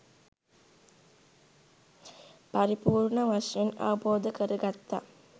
පරිපූර්ණ වශයෙන් අවබෝධ කරගත්තා.